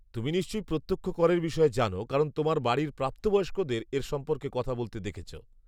তুমি নিশ্চয়ই প্রত্যক্ষ করের বিষয়ে জানো, কারণ তোমার বাড়ির প্রাপ্তবয়স্কদের এর সম্পর্কে কথা বলতে দেখেছ।